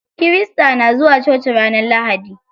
Kirista na zuwa coci ranar lahadi.